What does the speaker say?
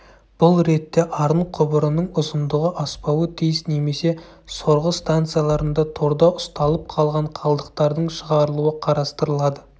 бұл ретте арын құбырының ұзындығы аспауы тиіс немесе сорғы станцияларында торда ұсталып қалған қалдықтардың шығарылуы қарастырылады